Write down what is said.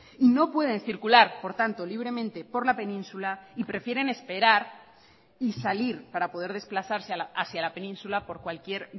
y no pueden circular por tanto libremente por la península y prefieren esperar y salir para poder desplazarse hacia la península por cualquier